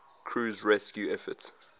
crew's rescue efforts